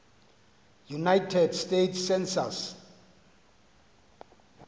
united states census